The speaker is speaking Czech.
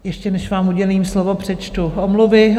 Ještě než vám udělím slovo, přečtu omluvy.